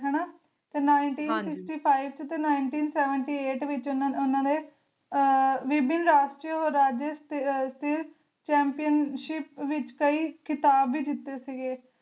ਤੇ Nineteen Sixty Five ਤੇ Ninteen Seventy Eight ਵਿਚ ਓਹਨਾ ਨੇ ਅਹ ਵਿਭਿਨ ਰਾਸ਼੍ਟ੍ਰੀਯਸਥਿਰ Chmpionship ਵਿਚ ਕਯੀ ਖਿਤਾਬ ਵੀ ਜਿਤੇ ਸੀਗੇ